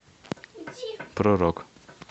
про рок